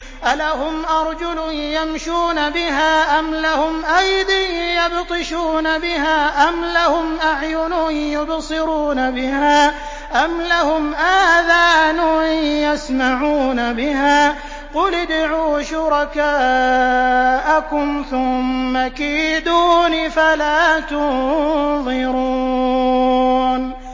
أَلَهُمْ أَرْجُلٌ يَمْشُونَ بِهَا ۖ أَمْ لَهُمْ أَيْدٍ يَبْطِشُونَ بِهَا ۖ أَمْ لَهُمْ أَعْيُنٌ يُبْصِرُونَ بِهَا ۖ أَمْ لَهُمْ آذَانٌ يَسْمَعُونَ بِهَا ۗ قُلِ ادْعُوا شُرَكَاءَكُمْ ثُمَّ كِيدُونِ فَلَا تُنظِرُونِ